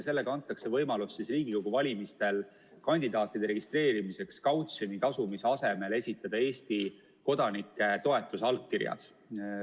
Sellega antakse võimalus Riigikogu valimistel kandidaatide registreerimiseks kautsjoni tasumise asemel esitada Eesti kodanike toetusallkirjad.